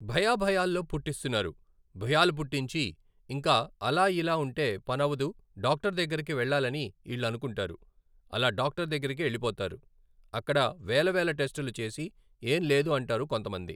భయా భయాల్లో పుట్టిస్తున్నారు, భయాలు పుట్టించి ఇంకా అలా ఇలా ఉంటే పనవదు డాక్టర్ దగ్గరకు వెళ్లాలని ఈళ్లనుకుంటారు, అలా డాక్టర్ దగ్గరికెళ్లిపోతారు, అక్కడ వేల వేల టెస్టులు చేసి ఏంలేదు అంటారు కొంతమంది